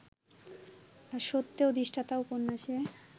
সত্যে অধিষ্ঠাতা উপন্যাসে